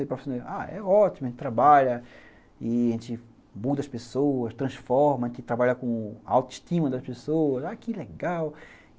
É ótimo, a gente trabalha, a gente muda as pessoas, transforma, a gente trabalha com a autoestima das pessoas, que legal.